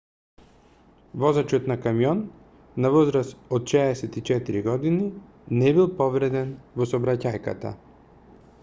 возачот на камион на возраст од 64 години не бил повреден во сообраќајката